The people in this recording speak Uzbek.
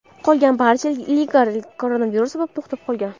Qolgan barcha ligalar koronavirus sabab to‘xtab qolgan.